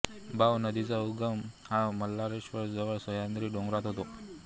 बाव नदीचा उगम हा मार्लेश्वर जवळ सह्याद्री डोंगरात होतो